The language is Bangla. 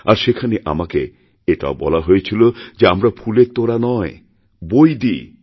আর সেখানে আমাকে এটাও বলা হয়েছিল যে আমরা ফুলের তোড়া নয় বই দিই